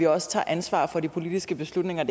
også tager ansvar for de politiske beslutninger